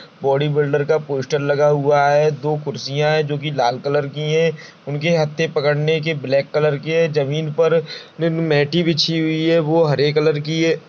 Bodybuilder का poster लगा हुआ है दो कुर्सियाँ है जोकि लाल कलर की है उनके हत्थे पकड़ने के ब्लैक कलर के है जमीन पर मेटे बिछी हुई है वो हरे कलर की है।